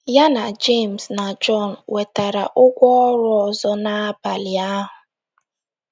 Ya na Jems na Jọn nwetara ụgwọ ọrụ ọzọ n’abalị ahụ.